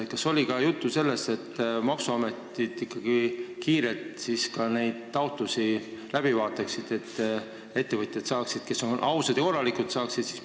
Kas oli juttu ka sellest, et maksuamet vaataks ikkagi kiirelt läbi nende ettevõtjate taotlused, kes on ausad ja korralikud?